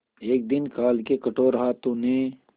एक दिन काल के कठोर हाथों ने